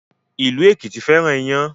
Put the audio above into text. Ilu Ekiti féràn iyán